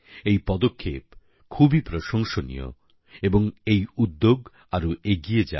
এই পদক্ষেপ খুবই প্রশংসনীয় এবং এই উদ্যোগ আরও এগিয়ে যাক